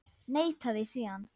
Neitaði síðan.